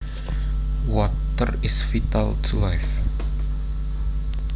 Water is vital to life